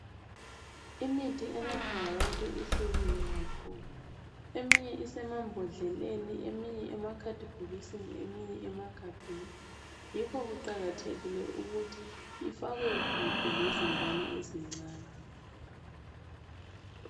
Imithi enathwa ngabantu ihlukile kakhulu. Eminye isemambodleleni, eminye emakhadibhokisini,, eminye emagabhenii. Yikho kuqakathekile ukuthi ifakwe kude, lezingane ezincane.